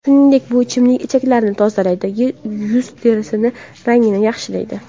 Shuningdek bu ichimlik ichaklarni tozalaydi, yuz terisi rangini yaxshilaydi.